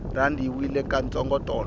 rhandi yi wile ka ntsongo tolo